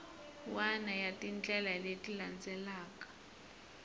wana ya tindlela leti landzelaka